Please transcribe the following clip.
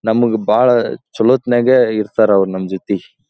ನಮಗ ಭಾಳ ಚಲೋತ್ನ್ಯಾಗ ಇರ್ತಾರ ಅವ್ರು ನಂಜೊತಿ ‌.